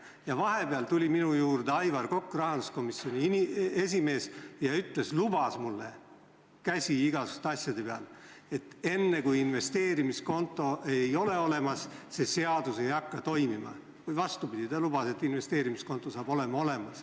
Ja vahepeal tuli minu juurde Aivar Kokk, rahanduskomisjoni esimees, ja lubas mulle käsi igasuguste asjade peal, et enne, kui investeerimiskontot ei ole olemas, see seadus toimima ei hakka, või vastupidi, ta lubas, et investeerimiskonto saab olemas olema.